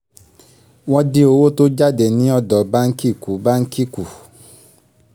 wọ́n dín owó tó jáde ni ọdọ báǹkì kù báǹkì kù